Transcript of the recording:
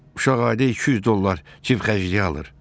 Uşaq ayda 200 dollar cib xərcliyi alır.